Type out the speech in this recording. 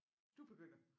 Du begynder